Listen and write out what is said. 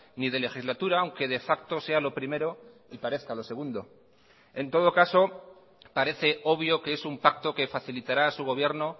ni de legislatura aunque de facto sea lo primero y parezca lo segundo en todo caso parece obvio que es un pacto que facilitará a su gobierno